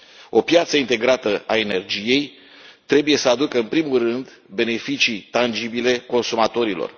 O piață integrată a energiei trebuie să aducă în primul rând beneficii tangibile consumatorilor.